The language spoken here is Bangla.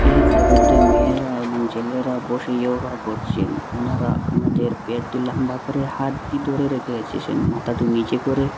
এই ফটো তে মেয়েরা এবং ছেলেরা বসে ইয়োগা করছেন ওনারা ওনাদের প্যাটি লাম্বা করে হাতটি ধরে রেখে এসেছেন মাথাটা নীচে করে --